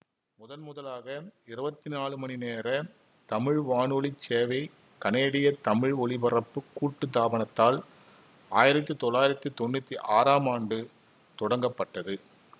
முதன் முதலாக இருவத்தி நாலு மணி நேர தமிழ் வானொலி சேவை கனேடிய தமிழ் ஒலிபரப்புக் கூட்டுத்தாபனத்தால் ஆயிரத்தி தொள்ளாயிரத்தி தொன்னூத்தி ஆறாம் ஆண்டு தொடங்கப்பட்டது